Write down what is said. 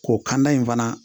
K'o kanda in fana